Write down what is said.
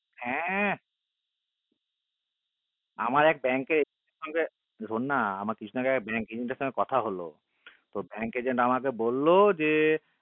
হ্য় আমার এক bank কে শুননা হ্য় bank এ কথা হলো bank এর agent আমাকে বল যে